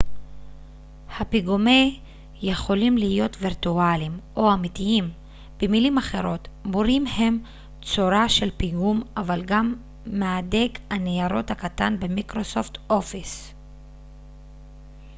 הפיגומי יכולים להיות וירטואליים או אמיתיים במילים אחרות מורים הם צורה של פיגום אבל גם מהדק הניירות הקטן במייקרוסופט אופיס